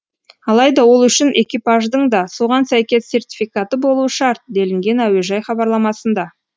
алайда ол үшін экипаждың да соған сәйкес сертификаты болуы шарт делінген әуежай хабарламасында